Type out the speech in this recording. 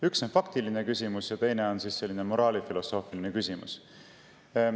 Üks on faktiline küsimus ja teine moraalifilosoofiline küsimus.